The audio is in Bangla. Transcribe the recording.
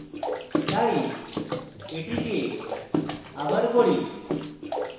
তাই এটি আবার করি